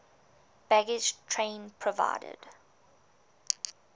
baggage train provided